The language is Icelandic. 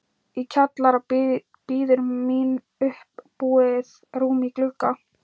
Í kjallara bíður mín uppbúið rúm í glugga